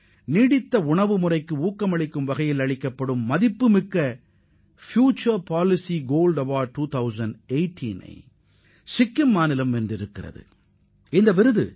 நீடித்த உணவு முறையை ஊக்குவித்ததற்காக 2018 ஆம் ஆண்டுக்கான மதிப்புமிக்க எதிர்கால கொள்கைக்கான தங்க விருதை சிக்கிம் மாநிலம் சில தினங்களுக்கு முன் பெற்றுள்ளது